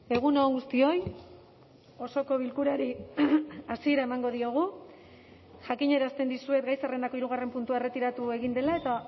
egun on guztioi osoko bilkurari hasiera emango diogu jakinarazten dizuet gai zerrendako hirugarren puntua erretiratu egin dela eta